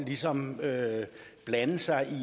ligesom at blande sig